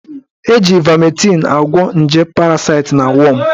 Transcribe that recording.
Eji ivametịn agwọ nje parasite na wọm